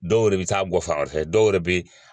Dɔw yɛrɛ bɛ taa gɔ fan wɛrɛ fɛ dɔw yɛrɛ bɛ